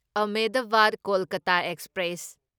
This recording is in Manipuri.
ꯑꯍꯃꯦꯗꯕꯥꯗ ꯀꯣꯜꯀꯇꯥ ꯑꯦꯛꯁꯄ꯭ꯔꯦꯁ